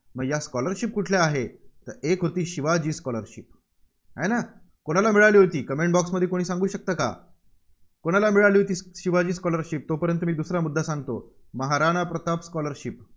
मग या scholarship कुठल्या आहेत? एक होती शिवाजी scholarship आहे ना? कुणाला मिळाली होती? comment box मध्ये सांगू शकता का? कोणाला मिळाली होती शिवाजी scholarship तोपर्यंत मी दुसरा मुद्दा सांगतो. महाराणा प्रताप scholarship